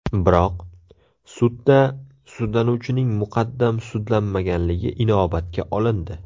Biroq, sudda sudlanuvchining muqaddam sudlanmaganligi inobatga olindi.